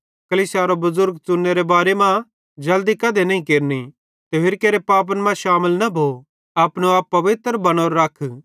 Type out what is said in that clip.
कलीसियारो बुज़ुर्ग च़ुनेरे बारे मां जल्दी कधे नईं केरनि ते होरि केरे पापन मां शामिल न भो अपनो आप पवित्र बनोरो रख